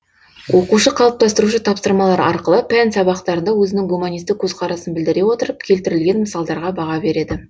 оқушы қалыптастырушы тапсырмалар арқылы пән сабақтарында өзінің гуманистік көзқарасын білдіре отырып келтірілген мысалдарға баға береді